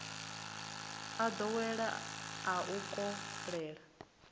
a nḓowelo a u koḽeka